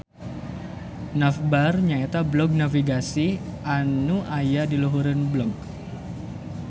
Navbar nyaeta blog navigasi anyu aya diluhureun blog